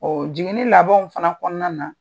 Ɔn jiginni labanw fana kɔnɔna na